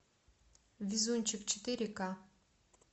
везунчик четыре к